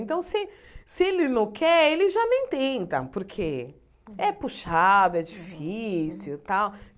Então, se se ele não quer, ele já nem tenta, porque é puxado, é difícil e tal.